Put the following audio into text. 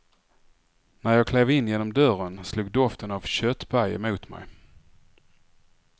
När jag klev in genom dörren slog doften av köttpaj emot mig.